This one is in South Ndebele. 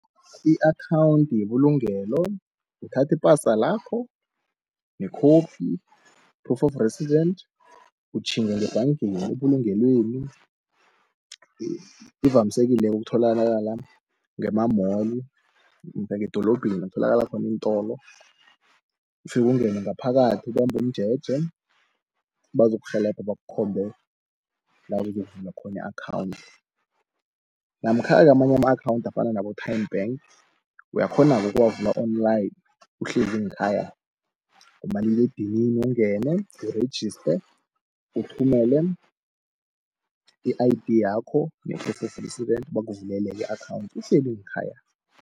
I-akhawunthi yebulugelo, uthathi ipasa lakho nekhophi, i-proof of resident, utjhinga ngebhangeni ebulungelweni ivamsekile ukutholaka ngema-mall ngedolobheni, kutholakala khona iintolo. Ufike ungene ngaphakathi ubambumjeje, bazokurhelebha bakukhombe la uzokuvula khona i-akhawunthi, namkha amanye ama-akhawunthi afana nabo-Nedbank, uyakghonake ukuwavula Online uhlezi nkhaya kumaliledinini ungene u-registe uthumele i-I_D, yakho ne-proof of residence bakavulele i-akhawunthi uhleli ngekhaya.